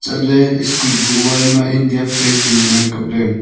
chatley school kuh wall ma india flag chu ngan ang kapley.